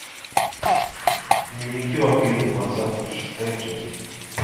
дневники вампира двадцатый шестая часть